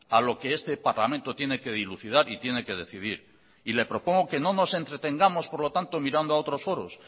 a lo que este parlamento tiene que dilucidar y tiene que decidir y le propongo que no nos entretengamos por lo tanto mirando a otros foros